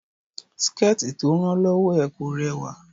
Síkẹ̀tí tí ó rán lọ́wọ́ ẹ̀ kò rẹwà